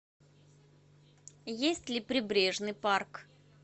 есть ли прибрежный парк